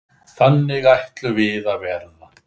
Þannig ætluðum við að verða.